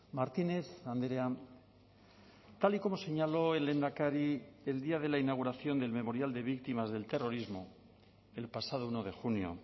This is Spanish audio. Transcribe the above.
martínez andrea tal y como señaló el lehendakari el día de la inauguración del memorial de víctimas del terrorismo el pasado uno de junio